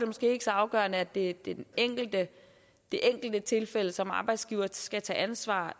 måske ikke så afgørende at det er det enkelte det enkelte tilfælde som arbejdsgiver skal tage ansvar